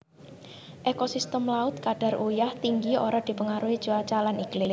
Ekosistem laut kadar uyah tinggi ora dipengaruhi cuaca lan iklim